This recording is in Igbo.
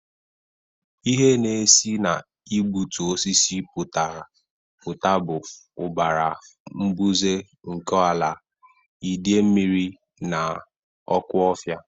Ihe na-esi na igbutu osisi pụta bụ ụbara mbuze nke ala, idei mmiri, na ọkụ ofia.